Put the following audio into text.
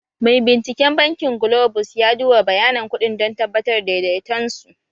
Mai binciken bankin Globus ya duba bayanan kuɗin don tabbatar da daidaiton su